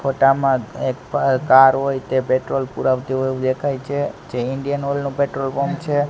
ફોટા માં એક પ કાર હોય તે પેટ્રોલ પુરાવતી હોય એવું દેખાય છે જે ઇન્ડિયન ઓઇલ નું પેટ્રોલ પંપ છે.